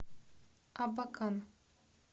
абакан